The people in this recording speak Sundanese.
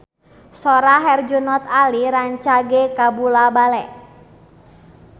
Sora Herjunot Ali rancage kabula-bale